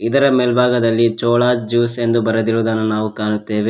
ಇದರ ಮೇಲ್ಭಾಗದಲ್ಲಿ ಚೋಳಾಸ್ ಜ್ಯೂಸ್ ಎಂದು ಬರೆದಿರುವುದನ್ನು ನಾವು ಕಾಣುತ್ತೇವೆ.